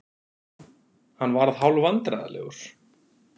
Hann varð hálfvandræðalegur.